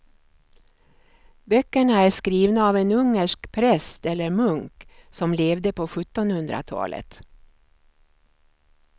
Böckerna är skrivna av en ungersk präst eller munk som levde på sjuttonhundratalet.